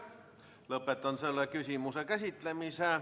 Lõpetan selle küsimuse käsitlemise.